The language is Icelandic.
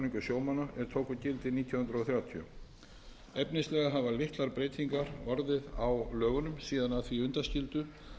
sjómanna er tóku gildi nítján hundruð þrjátíu efnislega hafa litlar breytingar orðið á lögunum síðan að því undanskildu